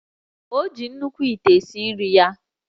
O ji nnukwu ite esi nri ya